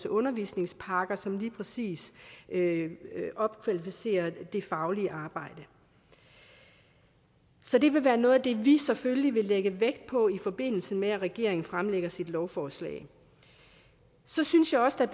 undervisningspakker som lige præcis opkvalificerer det faglige arbejde så det vil være noget af det vi selvfølgelig vil lægge vægt på i forbindelse med at regeringen fremsætter sit lovforslag så synes jeg også